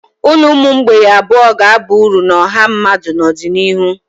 Ụlọ ụmụ mgbei abụọ ga-aba uru na ọha mmadụ n'ọdịnihu.